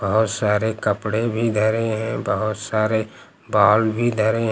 और सारे कपड़े भी धरे हैं बहुत सारे बॉल भी धरे हैं।